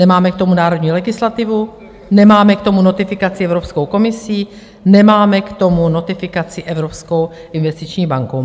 Nemáme k tomu národní legislativu, nemáme k tomu notifikaci Evropskou komisí, nemáme k tomu notifikaci Evropskou investiční bankou.